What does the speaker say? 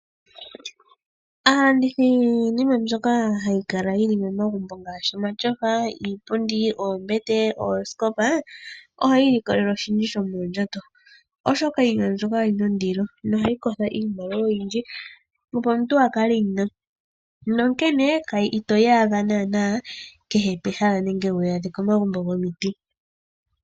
Aalandithi yiinima mbyoka hayi kala yi li momagumbo ngaashi iipundi, omatyofa, oombete noosikopa, ohayi ilikolele oshindji shomoondjato, oshoka iinima mbyoka oyi na ondilo, nohayi kotha iimaliwa oyindji, opo omuntu a kale e yi na. Onkene ito yi adha naana kehe pehala nenge wu yi adhe komagumbo gomiti.